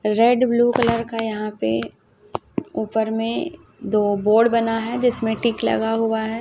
Red blue colour का यहाॅं पे ऊपर में दो बोर्ड बना है जिसमें टिक लगा हुवा है।